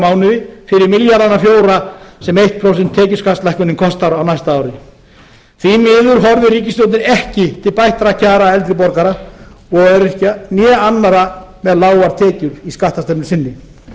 mánuði fyrir milljarðana fjóra sem eitt prósent tekjuskattslækkun kostar á næsta ári því miður horfir ríkisstjórnin ekki til bættra kjara eldri borgara og öryrkja né annarra með lágar tekjur í skattastefnu sinni